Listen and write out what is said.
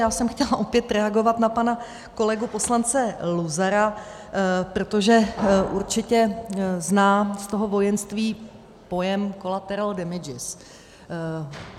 Já jsem chtěla opět reagovat na pana kolegu poslance Luzara, protože určitě zná z toho vojenství pojem collateral damages.